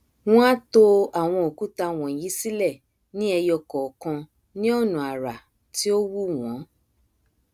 wọn á to àwọn òkúta wọnyí sílẹ ní ẹyo kọọkan ní ọnà àrà tí ó wù wọn